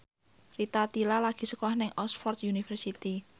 Rita Tila lagi sekolah nang Oxford university